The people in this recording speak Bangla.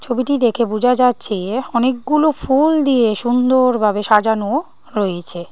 ছবিটি দেখে বোঝা যাচ্ছে অনেকগুলো ফুল দিয়ে সুন্দর ভাবে সাজানো রয়েছে।